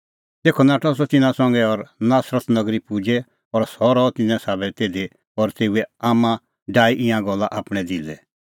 तेखअ नाठअ सह तिन्नां संघै और नासरत नगरी पुजै और सह रहअ तिन्नें साबै तिधी और तेऊए आम्मां डाही ईंयां गल्ला आपणैं दिलै